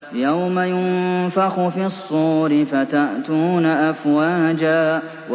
يَوْمَ يُنفَخُ فِي الصُّورِ فَتَأْتُونَ أَفْوَاجًا